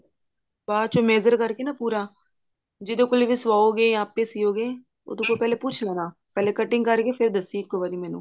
ਬਾਚੋ measure ਕਰਕੇ ਨਾ ਪੂਰਾ ਜਿਹਦੇ ਕੋਲੋਂ ਵੀ ਸਵਾਉਗੇ ਜਾਂ ਆਪੇ ਸਿਉਗੇ ਉਹਦੇ ਕੋਲੋਂ ਪਹਿਲੇ ਪੁੱਛ ਲੈਣਾ ਪਹਿਲੇ cutting ਕਰਕੇ ਫ਼ੇਰ ਦੱਸੀ ਇੱਕੋ ਵਾਰੀ ਮੈਨੂੰ